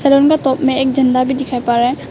सलों का तोप में एक झंडा भी दिखाई पा रहा है।